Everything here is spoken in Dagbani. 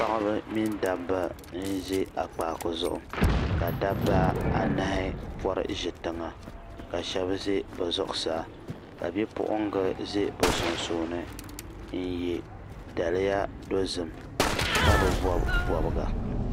Paɣiba mini dabba n-ʒi akpaaku zuɣu ka dabba anahi pori ʒi tiŋa ka shɛba ʒe zuɣusaa ka bipuɣinga ʒe bɛ sunsuuni n-ye daliya dozim ka bɛ bɔbi bɔbiga.